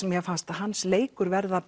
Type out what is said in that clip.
fannst mér hans leikur verða